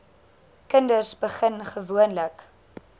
kinders begin gewoonlik